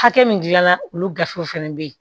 Hakɛ min dilanna olu gafew fana bɛ ye